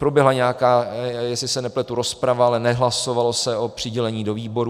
Proběhla nějaká, jestli se nepletu, rozprava, ale nehlasovalo se o přidělení do výborů.